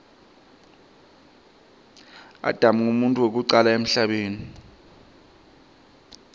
adam nqumuntfu wekucala emhlabeni